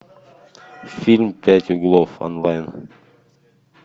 фильм пять углов онлайн